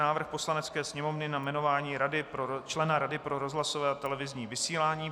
Návrh Poslanecké sněmovny na jmenování člena Rady pro rozhlasové a televizní vysílání